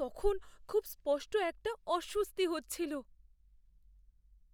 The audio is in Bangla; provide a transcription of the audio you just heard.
তখন খুব স্পষ্ট একটা অস্বস্তি হচ্ছিল।